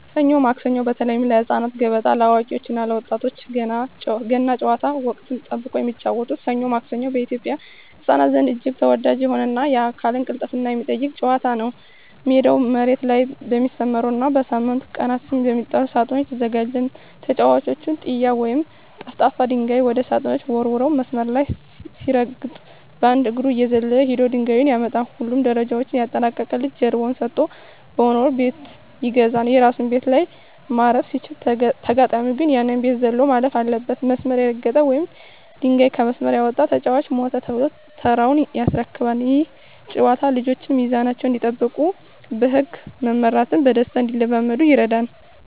ሰኞ ማክሰኞ (በተለይ ለህፃናት)፣ገበጣ (ለአዋቂዎች እና ለወጣቶች)፣ ገና ጨዋታ (ወቅትን ጠብቆ የሚጫወቱት) "ሰኞ ማክሰኞ" በኢትዮጵያ ህፃናት ዘንድ እጅግ ተወዳጅ የሆነና የአካል ቅልጥፍናን የሚጠይቅ ጨዋታ ነው። ሜዳው መሬት ላይ በሚሰመሩና በሳምንቱ ቀናት ስም በሚጠሩ ሳጥኖች ይዘጋጃል። ተጫዋቹ "ጢያ" ወይም ጠፍጣፋ ድንጋይ ወደ ሳጥኖቹ ወርውሮ፣ መስመር ሳይረግጥ በአንድ እግሩ እየዘለለ ሄዶ ድንጋዩን ያመጣል። ሁሉንም ደረጃዎች ያጠናቀቀ ልጅ ጀርባውን ሰጥቶ በመወርወር "ቤት ይገዛል"። የራሱ ቤት ላይ ማረፍ ሲችል፣ ተጋጣሚው ግን ያንን ቤት ዘሎ ማለፍ አለበት። መስመር የረገጠ ወይም ድንጋዩ ከመስመር የወጣበት ተጫዋች "ሞተ" ተብሎ ተራውን ያስረክባል። ይህ ጨዋታ ልጆች ሚዛናቸውን እንዲጠብቁና በህግ መመራትን በደስታ እንዲለማመዱ ይረዳል።